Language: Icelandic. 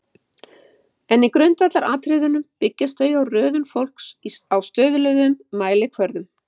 en í grundvallaratriðum byggjast þau á röðun fólks á stöðluðum mælikvörðum